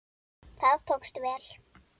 Það tókst vel.